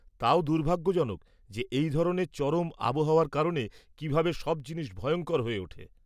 তাও দুর্ভাগ্যজনক যে এই ধরনের চরম আবহাওয়ার কারণে কীভাবে সব জিনিস ভয়ঙ্কর হয়ে ওঠে।